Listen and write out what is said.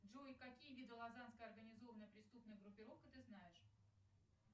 джой какие виды лазанская организованная преступная группировка ты знаешь